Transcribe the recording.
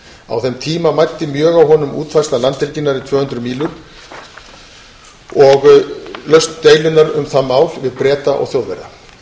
á þeim tíma mæddi mjög á honum útfærsla landhelginnar í tvö hundruð sjómílur og lausn deilunnar um það mál við breta og þjóðverja